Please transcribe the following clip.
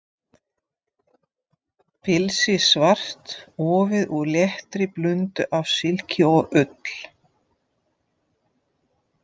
Pilsið svart, ofið úr léttri blöndu af silki og ull.